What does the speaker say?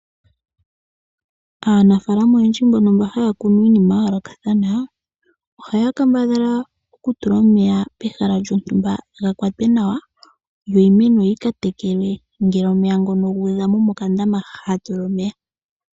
Aanafaalama oyendji mbono haya kunu iinima yayoolokathana ohaya kambadhala kutula omeya pehala lyotumba ga kwate nawa, yo iimeno yika tekelwe ngele omeya guudha mokandama haka tulwa omeya.